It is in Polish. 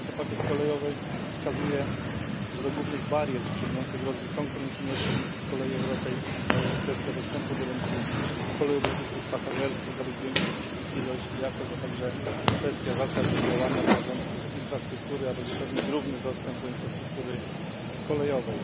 IV Pakiet Kolejowy wskazuje, że do głównych barier wstrzymujących rozwój konkurencyjności kolei europejskich należy kwestia dostępu do rynku kolejowych usług pasażerskich, aby zwiększyć ich ilość i jakość, a także kwestia zasad działania zarządców infrastruktury, aby zapewnić równy dostęp do infrastruktury kolejowej.